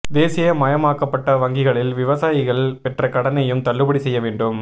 தேசிய மயமாக்கப்பட்ட வங்கிகளில் விவசாயிகள் பெற்ற கடனையும் தள்ளுபடி செய்ய வேண்டும்